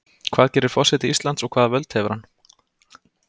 Hvað gerir forseti Íslands og hvaða völd hefur hann?